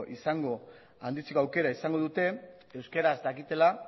aukera izango dute euskaraz dakitela